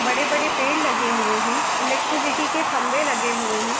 बड़े-बड़े पेड़ लगे हुए हैं इलेक्ट्रीसिटी के खम्भे लगे हुए हैं।